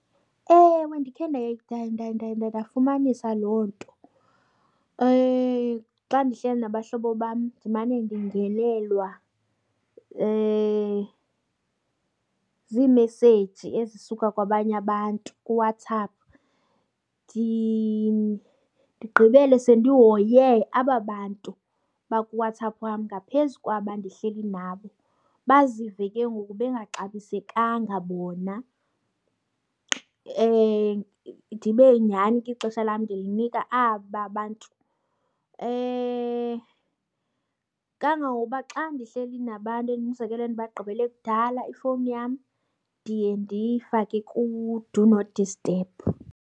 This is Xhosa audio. Ewe ndikhe ndafumanisa loo nto. Xa ndihleli nabahlobo bam ndimane ndingenelwa ziimeseji ezisuka kwabanye abantu kuWhatsApp ndigqibele sendihoye aba bantu bakuWhatsApp wam ngaphezu kwaba ndihleli nabo. Bazive ke ngoku bengaxabisekanga bona, ndibe nyhani ke ixesha lam ndinika aba bantu. Kangangokuba xa ndihleli nabantu umzekelo endibagqibele kudala ifowuni yam ndiye ndiyifake ku-do not disturb.